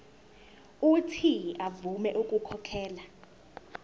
uuthi avume ukukhokhela